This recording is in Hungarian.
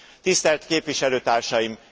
Tisztelt képviselőtársaim!